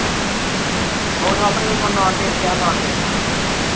ਉਹ ਹੁਣ ਆਪਣੇ ਬਸ ਨਾਨਕੇ ਗਿਆ ਨਾਨਕੇ।